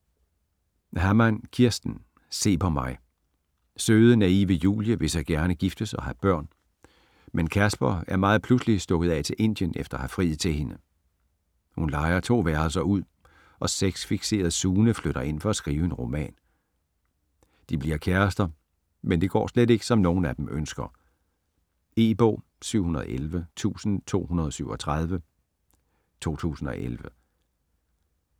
Hammann, Kirsten: Se på mig Søde, naive Julie vil så gerne giftes og have børn, men Casper er meget pludseligt stukket af til Indien efter at have friet til hende. Hun lejer 2 værelser ud, og sex-fikserede Sune flytter ind for at skrive en roman. De bliver kærester, men det går slet ikke som nogen af dem ønsker. E-bog 711237 2011.